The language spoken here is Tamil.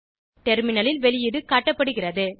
டெர்மினலில் வெளீயிடு காட்டப்படுகிறது